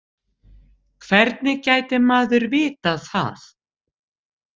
Hvernig gæti maður vitað það?